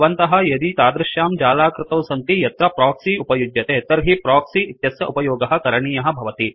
भवन्तः यदि तादृश्यां जालाकृतौ सन्ति यत्र प्रोक्सि उपयुज्यते तर्हि प्रोक्सि इत्यस्य उपयोगः करणीयः भवति